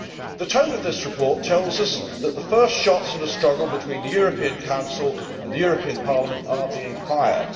The tone of this report tells us that the first shots in the struggle between the European Council and the European Parliament are being fired.